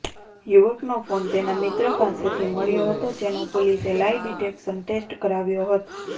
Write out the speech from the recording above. યુવકનો phone તેના મિત્ર પાસેથી મળ્યો હતો જેનો પોલીસે લાઇ ડિટેકશન ટેસ્ટ કરાવ્યો હતો